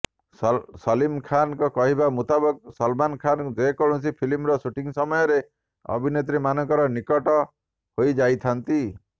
ସଲିମ ଖାନଙ୍କ କହିବା ମୁତାବକ ସଲମାନ ଖାନ ଯେକୌଣସି ଫିଲ୍ମିର ସୁଟିଙ୍ଗ ସମୟରେ ଅଭିନେତ୍ରୀ ମାନଙ୍କର ନିକଟ ହୋଇଯାଇଥାନ୍ତି